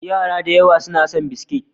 Yara da yawa suna son biskit.